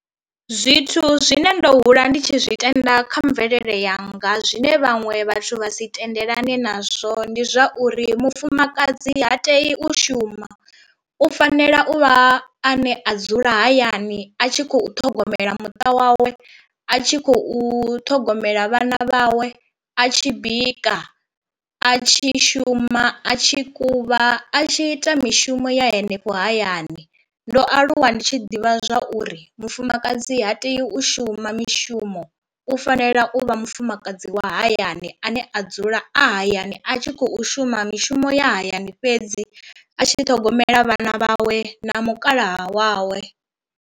Zwithu zwine ndo hula ndi tshi zwi tenda kha mvelele yanga zwine vhaṅwe vhathu vha si tendelani nazwo ndi zwauri mufumakadzi ha tei u shuma, u fanela u vha a ne a dzula hayani a tshi khou ṱhogomela muṱa wawe, a tshi khou ṱhogomela vhana vhawe, a tshi bika, a tshi shuma a tshi kuvha a tshi ita mishumo ya henefho hayani. Ndo aluwa ndi tshi ḓivha zwauri mufumakadzi ha tei u shuma mishumo u fanela u vha mufumakadzi wa hayani ane a dzula a hayani a tshi khou shuma mishumo ya hayani fhedzi a tshi ṱhogomela vhana vhawe na mukala wawe.